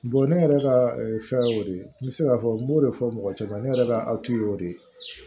ne yɛrɛ ka fɛn ye o de ye n bɛ se k'a fɔ n b'o de fɔ mɔgɔ caman ye ne yɛrɛ ka awtu ye o de ye